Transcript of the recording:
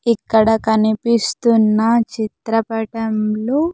ఇక్కడ కనిపిస్తున్న చిత్రపటంలో.